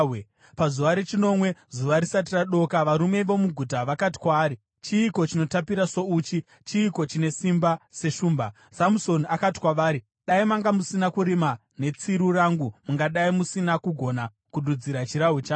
Pazuva rechinomwe, zuva risati radoka, varume vomuguta vakati kwaari, “Chiiko chinotapira souchi? Chiiko chine simba seshumba?” Samusoni akati kwavari, “Dai manga musina kurima netsiru rangu, mungadai musina kugona kududzira chirahwe changu.”